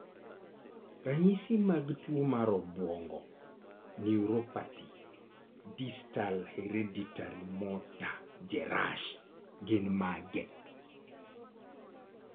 Ranyisi mag tuwo mar obwongo (Neuropathy) distal hereditary motor, Jerash gin mage?